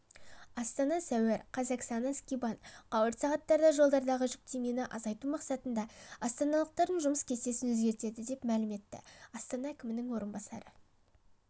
астана сәуір қаз оксана скибан қауырт сағаттарда жолдардағы жүктемені азайту мақсатында астаналықтардың жұмыс кестесін өзгертеді деп мәлім етті астана әкімінің орынбасары